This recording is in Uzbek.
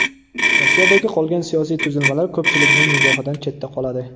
Rossiyadagi qolgan siyosiy tuzilmalar ko‘pchilikning nigohidan chetda qoladi.